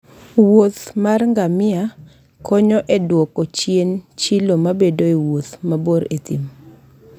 Wuoth mar ngamia ngamia konyo e dwoko chien chilo mabedoe e wuoth mabor e thim.